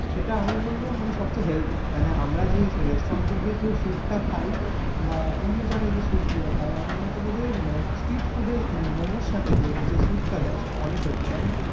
সেটা আমি বলব সবচেয়ে healthy মানে আমরা যে restaurant গিয়ে যে soup টা খায়, বা অন্য জায়গাই যে soup গুলো খায়, আমার মতো বলে মম~ street food এর momo সাথে যে হচ্ছে soup টা দেই অনেক healthy কারণ,